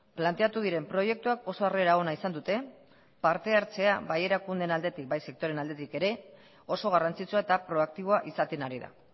planteatu diren proiektuak oso harrera ona izan dute partehartzea bai erakundeen aldetik bai sektoreen aldetik ere oso garrantzitsua eta proaktiboa izaten ari da